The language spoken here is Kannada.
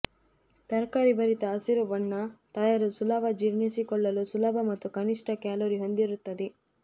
ತರಕಾರಿ ಭರಿತ ಹಸಿರು ಬಣ್ಣ ತಯಾರು ಸುಲಭ ಜೀರ್ಣಿಸಿಕೊಳ್ಳಲು ಸುಲಭ ಮತ್ತು ಕನಿಷ್ಠ ಕ್ಯಾಲೋರಿ ಹೊಂದಿರುತ್ತದೆ